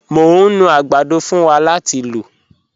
Mọ̀ ń nú agbàdọ̀ fún wá láti lọ̀.